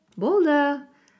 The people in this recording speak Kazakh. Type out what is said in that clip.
болды